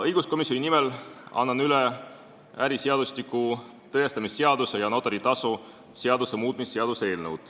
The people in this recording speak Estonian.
Õiguskomisjoni nimel annan üle äriseadustiku, tõestamisseaduse ja notari tasu seaduse muutmise seaduse eelnõu.